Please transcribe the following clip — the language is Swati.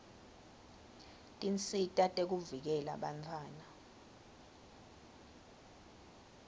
tinsita tekuvikela bantfwana